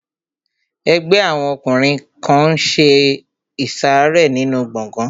Ẹgbẹ́ àwọn ọkùnrin kan n ṣe ìsàrẹ́ nínu gbọgán